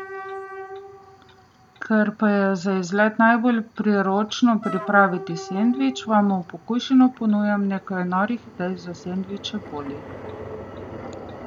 Ker pa je za izlet najbolj priročno pripraviti sendvič, vam v pokušino ponujamo nekaj norih idej za sendvič Poli.